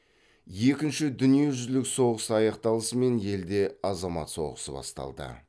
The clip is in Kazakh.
екінші дүниежүзілік соғыс аяқталысымен елде азамат соғысы басталды